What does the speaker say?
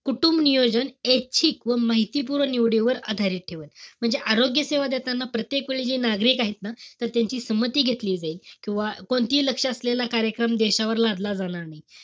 कुटुंबनियोजन, ऐच्छिक व माहितीपूर्ण निवडीवर आधारित ठेवायचं. म्हणजे आरोग्यसेवा देताना प्रत्येकवेळी जे नागरिक आहेत ना त त्यांची संमती घेतली जाईल. किंवा कोणतीही लक्ष असलेला कार्यक्रम देशावर लादला जाणार नाही.